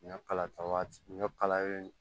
Ɲɔ kala ta waati ɲɔ kalalen